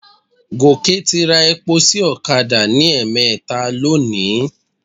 Gòkè ti ra epo sí ọ̀kadà ní ẹ̀ẹ̀mẹta lónìí.